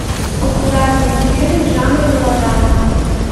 популярные фильмы в жанре мелодрама